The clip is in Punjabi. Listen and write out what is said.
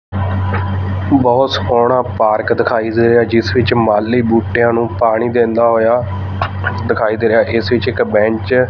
ਬਹੁਤ ਸਕੋਨਾ ਪਾਰਕ ਦਿਖਾਈ ਦੇ ਰਿਹਾ ਜਿਸ ਵਿੱਚ ਮਾਲੀ ਬੂਟਿਆਂ ਨੂੰ ਪਾਣੀ ਦਿੰਦਾ ਹੋਇਆ ਦਿਖਾਈ ਦੇ ਰਿਹਾ ਇਸ ਵਿੱਚ ਇੱਕ ਬੈਂਚ --